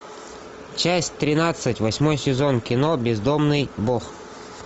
часть тринадцать восьмой сезон кино бездомный бог